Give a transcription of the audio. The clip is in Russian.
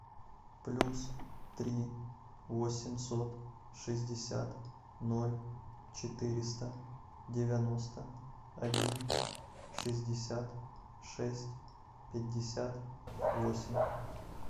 плюс три восемьсот шестьдесят ноль четыреста девяносто один шестьдесят шесть пятьдесят восемь